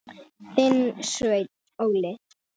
Þinn, Sveinn Óli.